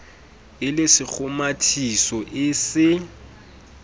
e le sekgomathiso e se